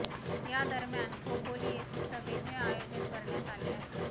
या दरम्यान खोपोली येथे सभेचे आयोजन करण्यात आले आहे